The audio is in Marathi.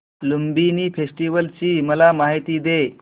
लुंबिनी फेस्टिवल ची मला माहिती दे